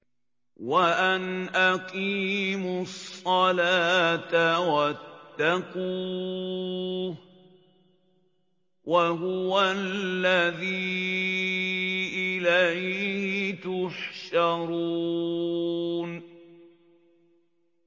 وَأَنْ أَقِيمُوا الصَّلَاةَ وَاتَّقُوهُ ۚ وَهُوَ الَّذِي إِلَيْهِ تُحْشَرُونَ